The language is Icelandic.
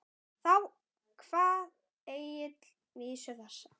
Þá kvað Egill vísu þessa: